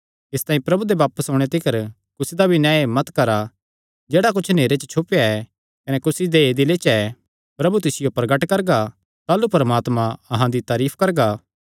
इसतांई प्रभु दे बापस ओणे तिकर कुसी दा भी न्याय मत करा जेह्ड़ा कुच्छ नेहरे च छुपेया ऐ कने कुसी दे दिले च ऐ प्रभु तिसियो प्रगट करगा ताह़लू परमात्मा अहां दी तारीफ करगा